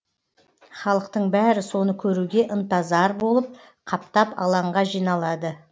халықтың бәрі соны көруге ынтазар болып қаптап алаңға жиналады